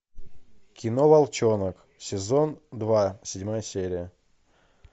кино волчонок сезон два седьмая серия